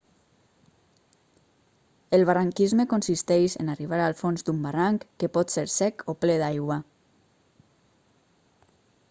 el barranquisme consisteix en arribar al fons d'un barranc que pot ser sec o ple d'aigua